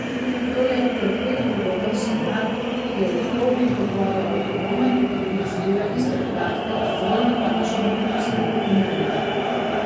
To je torpedu podoben sonar, ki je v plovbi pod vodo avtonomen in zbira iste podatke z zelo natančnimi posnetki morja.